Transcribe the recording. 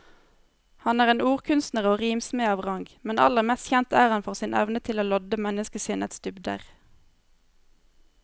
Han er en ordkunstner og rimsmed av rang, men aller mest kjent er han for sin evne til å lodde menneskesinnets dybder.